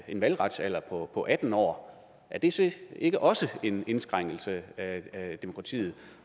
en valgretsalder på atten år er det så ikke også en indskrænkelse af demokratiet